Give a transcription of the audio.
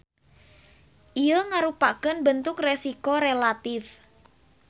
Ieu ngarupakeun bentuk resiko relatip.